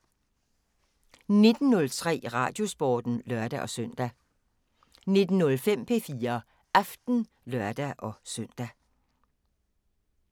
19:03: Radiosporten (lør-søn) 19:05: P4 Aften (lør-søn)